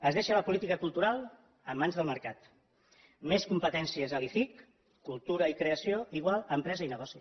es deixa la política cultural en mans del mercat més competències a l’icic cultura i creació igual a empresa i negoci